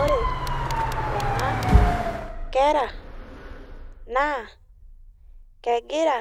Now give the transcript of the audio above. Ore kuna kera naa kegira